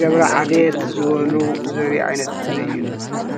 ገብረ ዓዴት ዝበሉ ዘርኢ ዓይነት ምስሊ እዩ፡፡